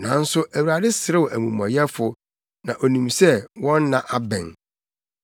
nanso Awurade serew amumɔyɛfo, na onim sɛ wɔn nna abɛn.